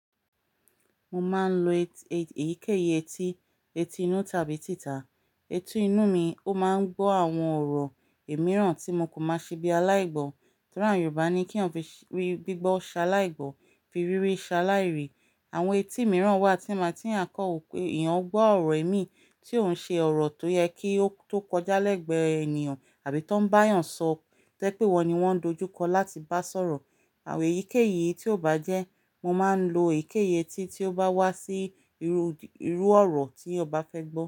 Mo máa ń lo èyíkéyìí etí, etí inú tàbí títà. Eti inú mi ó máa ń gbọ́ àwọn ọ̀rọ̀ ẹ̀mí ràn tí mo kò máa ṣe bí i aláìgbọ́. Nítorí àwọn Yorùbá ní kí wọ́n fi rí gbígbọ́ ṣaláìgbọ́, fi rírí ṣaláìrì. Àwọn etí mìíràn wà tí máa ti à ń kọ́ ọ pé ìyàn gbọ́ ọ̀rọ̀ ẹ̀mí tí ó ń ṣe ọ̀rọ̀ tó yẹ kí ó tó kọjá lẹ́gbẹ̀ẹ́ ènìyàn àbí tó ń bá ènìyàn sọ, tẹ́ pé wọ́n ni wọ́n ń dojúkọ láti bá sọ̀rọ̀. Àwọn èyíkéyìí tí ò bá jẹ́, mo máa ń 1o èyíkéyìí etí tí ó bá wá sí irú, irú ọ̀rọ̀ tí ọbá fẹ́ gbọ́.